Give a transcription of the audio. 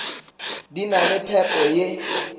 di na le phepo ye